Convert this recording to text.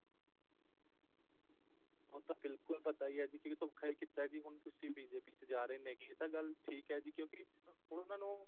ਉਹ ਤਾਂ ਬਿਲਕੁਲ ਪਤਾ ਹੀ ਹੈ ਜੀ ਵੀ ਧੋਖਾ ਹੀ ਕੀਤਾ ਜੀ ਹੁਣ ਤੁਸੀਂ BJP ਚ ਜਾ ਰਹੇ ਨੇ ਹੈਗੇ ਇਹ ਤਾਂ ਗੱਲ ਠੀਕ ਹੈ ਜੀ ਕਿਉਂਕਿ ਉਹਨਾ ਨੂੰ